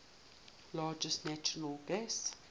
largest natural gas